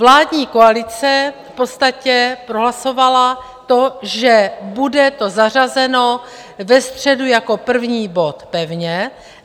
Vládní koalice v podstatě prohlasovala to, že bude to zařazeno ve středu jako první bod pevně.